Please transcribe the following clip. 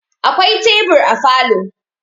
Akwai tebur a falo